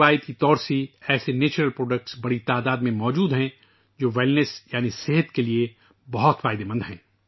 روایتی طور پر ہمارے ملک میں ایسی قدرتی مصنوعات وافر مقدار میں دستیاب ہیں جو کہ تندرستی کے لیے بہت فائدہ مند ہے